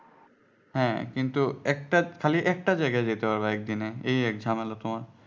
হ্যাঁ কিন্তু একটা খালি একটা জায়গা যেতে হবে একদিনে এই এক ঝামেলা তোমার